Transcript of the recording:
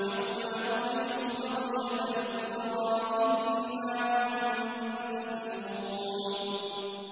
يَوْمَ نَبْطِشُ الْبَطْشَةَ الْكُبْرَىٰ إِنَّا مُنتَقِمُونَ